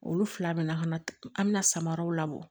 Olu fila bɛ na ka na an bɛna samaraw labɔ